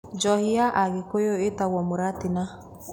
Njohi ya Agikuyu ĩtagwo mũratina.